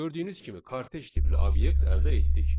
Gördüyünüz kimi kortej tipli obyekt əldə etdik.